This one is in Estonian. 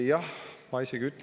Aitäh!